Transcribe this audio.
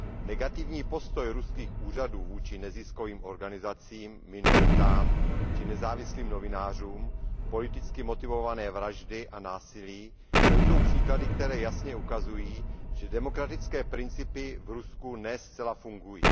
negativní postoj ruských úřadů vůči neziskovým organizacím, minoritám či nezávislým novinářům, politicky motivované vraždy a násilí, to jsou příklady, které jasně ukazují, že demokratické principy v Rusku ne zcela fungují.